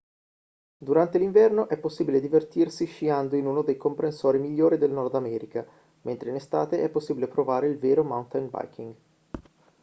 durante l'inverno è possibile divertirsi sciando in uno dei comprensori migliori del nord america mentre in estate è possibile provare il vero mountain biking